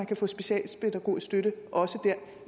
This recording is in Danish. kan få specialpædagogisk støtte